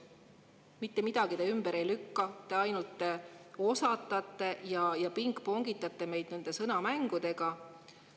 Mitte midagi te ümber ei lükka, ainult osatate ja pingpongitate nende sõnamängudega.